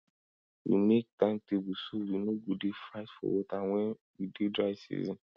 we make time table so we no go dey fight for water when we dey dry season